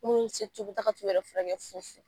taa ka t'u yɛrɛ furakɛ fu-fu